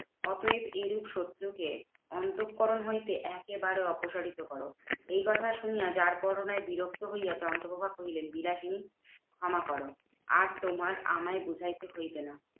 অতএব এরূপ শত্রু কে অন্তঃকরণ হইতে একেবারে অপসারিত করো। এই কথা শুনিয়া যারপরনাই বিরক্ত হইয়া চন্দ্রপ্রভা কহিলেন, বিলাসিনী ক্ষমা করো আর তোমার আমায় বুঝাইতে হইবে না।